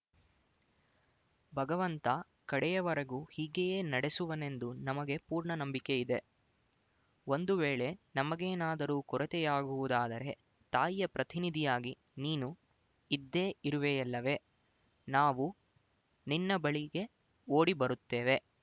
ಭಗವಂತ ಕಡೆಯವರೆಗೂ ಹೀಗೆಯೇ ನಡೆಸುವನೆಂದು ನಮಗೆ ಪೂರ್ಣ ನಂಬಿಕೆ ಇದೆ ಒಂದು ವೇಳೆ ನಮಗೇನಾದರೂ ಕೊರತೆಯಾಗುವುದಾದರೆ ತಾಯಿಯ ಪ್ರತಿನಿಧಿಯಾಗಿ ನೀನು ಇದ್ದೇ ಇರುವೆಯಲ್ಲವೆ ನಾವು ನಿನ್ನ ಬಳಿಗೆ ಓಡಿ ಬರುತ್ತೇವೆ